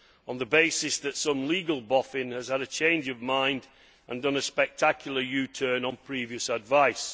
on the basis that a legal boffin has had a change of mind and done a spectacular U turn on previous advice.